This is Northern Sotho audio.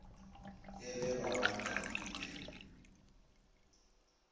e le ba ga nkambule